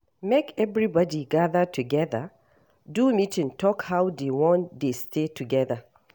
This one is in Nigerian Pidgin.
Make everybody gather together do meeting talk how they won de stay together